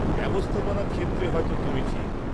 -ব্যবস্থাপনার ক্ষেত্রে হয়তো তুমি ঠিক।